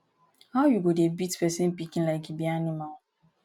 how you go dey beat person pikin like e be animal